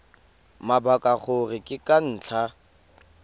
mabaka gore ke ka ntlha